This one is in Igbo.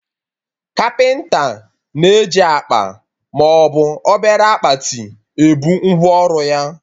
Kapịnta na-eji akpa maọbụ obere akpati ebu ngwa ọrụ ya